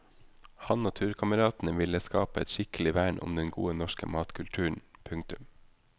Han og turkameratene ville skape et skikkelig vern om den gode norske matkulturen. punktum